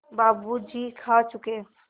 बाबू जी खा चुके